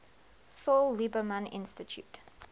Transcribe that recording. saul lieberman institute